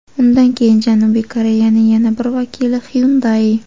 Undan keyin Janubiy Koreyaning yana bir vakili – Hyundai.